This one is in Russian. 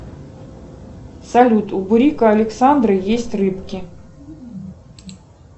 салют у бурико александра есть рыбки